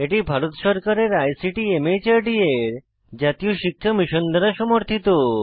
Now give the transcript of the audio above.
এটি ভারত সরকারের আইসিটি মাহর্দ এর জাতীয় শিক্ষা মিশন দ্বারা সমর্থিত